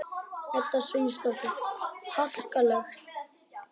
Edda Sveinsdóttir: Harkaleg?